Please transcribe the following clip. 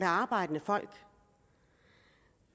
arbejdende folk